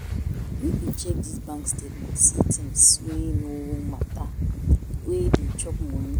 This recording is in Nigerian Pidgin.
Make we check dis bank statement see tins wey no mata wey dey chop moni.